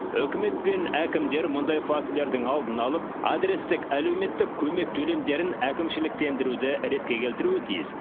үкімет пен әкімдер мұндай фактілердің алдын алып адрестік әлеуметтік көмек төлемдерін әкімшіліктендіруді ретке келтіруі тиіс